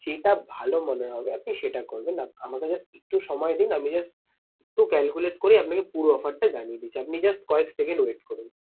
যেটা ভালো মনে হবে আপনি সেটা করবেন। আমাকে just একটু সময় দিন আমি just একটু calculate করে আপনাকে পুরো offer টা জানিয়ে দিচ্ছি। আপনি just কয়েক second wait করুন।